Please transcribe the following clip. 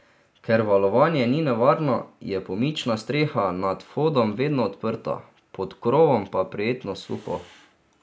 Ker valovanje ni nevarno, je pomična streha nad vhodom vedno odprta, pod krovom pa prijetno suho.